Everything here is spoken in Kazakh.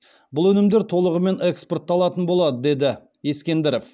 бұл өнімдер толығымен экспортталатын болады деді ескендіров